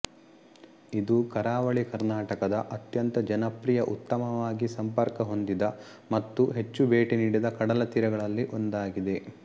ಇದು ಕರಾವಳಿ ಕರ್ನಾಟಕದ ಅತ್ಯಂತ ಜನಪ್ರಿಯ ಉತ್ತಮವಾಗಿ ಸಂಪರ್ಕ ಹೊಂದಿದ ಮತ್ತು ಹೆಚ್ಚು ಭೇಟಿ ನೀಡಿದ ಕಡಲ ತೀರಗಳಲ್ಲಿ ಒಂದಾಗಿದೆ